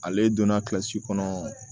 Ale donna kilasi kɔnɔ